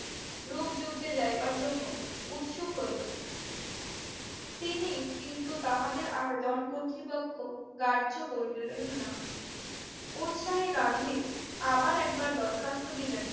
রূপযুদ্ধে যাইবার জন্য উৎসুক হইল। তিনি কিন্তু তাহাদের আবেদন কর্তৃপক্ষ কার্য করিলেন না। উৎসাহী গান্ধী আবার একবার দরখাস্ত দিলেন।